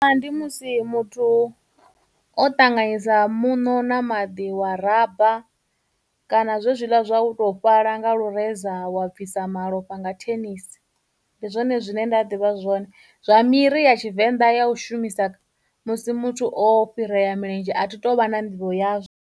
Ndi musi muthu o ṱanganyisa muṋo na maḓi wa raba kana zwe zwila zwa u tou fhala nga lureza wa bvisa malofha nga thenisi ndi zwone zwine nda ḓivha zwone. Zwa miri ya Tshivenḓa ya u shumisa musi muthu o fhirea milenzhe a thi tu vha na nḓivho yazwo.